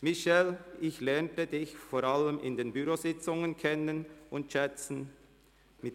Michel Walthert, ich habe Sie vor allem an den Bürositzungen kennen und schätzen gelernt.